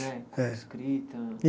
Né É Com a escrita. E